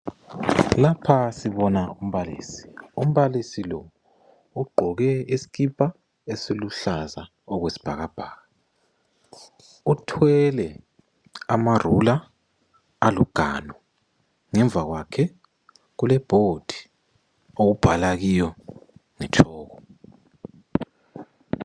Lapha sibona umbalisi. Umbalisi lo ugqoke isikipa esiluhlaza okwesibhakabhaka. Uthwele ama rula aluganu. Ngemva kwakhe kulebhodi obhala kuyo ngetshoko.